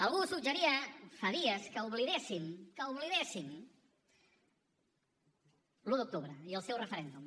algú suggeria fa dies que oblidéssim que oblidéssim l’un d’octubre i el seu referèndum